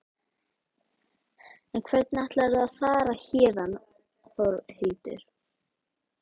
En hvernig ætlar þú að fara héðan Þórhildur?